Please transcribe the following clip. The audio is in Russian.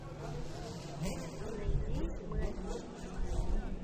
найди мы одни